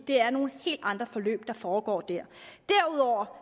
det er nogle helt andre forløb der foregår der derudover